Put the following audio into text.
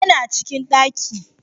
Yana cikin daki